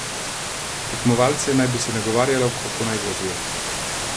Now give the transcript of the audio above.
Tekmovalce naj bi se nagovarjalo, kako naj vozijo.